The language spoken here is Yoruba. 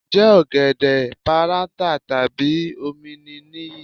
Ǹjẹ́ ọ̀gẹ̀dẹ̀ páráǹtà tàbí ọ̀mìnì nìyí?